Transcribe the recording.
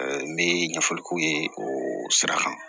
n bɛ ɲɛfɔli k'u ye o sira kan